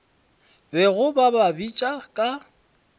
bego ba ba bitša ka